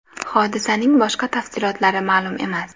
Hodisasning boshqa tafsilotlari ma’lum emas.